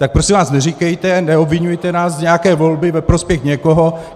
Tak prosím vás neříkejte, neobviňujte nás z nějaké volby ve prospěch někoho.